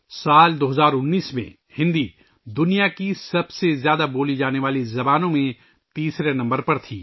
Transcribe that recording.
سال 2019 ء میں ہندی دنیا کی سب سے زیادہ بولی جانے والی زبانوں میں تیسرے نمبر پر تھی